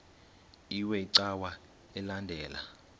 iwe cawa elandela